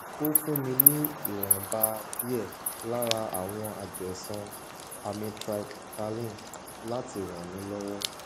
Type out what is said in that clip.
ó fún mi ní ìwònba díè lára àwọn àjẹsán amytryptaline láti ràn mí lọwọ